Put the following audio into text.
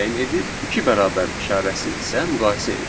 iki bərabər işarəsi isə müqayisə edir.